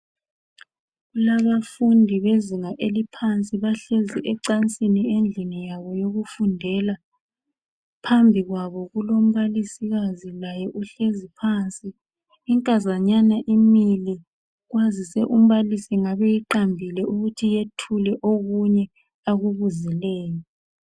Kulabafundi bezinga eliphansi bahlezi ecansini endlini yabo yokufundela. Phambi kwabo kulombalisikazi laye uhlezi phansi. Inkazanyana imile kwazise umbalisi engabe eyiqambile ukuthi yethule okunye akubuzileyo